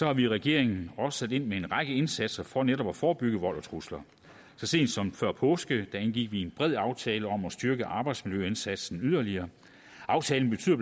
har vi i regeringen også sat ind med en række indsatser for netop at forebygge vold og trusler så sent som før påske indgik vi en bred aftale om at styrke arbejdsmiljøindsatsen yderligere aftalen betyder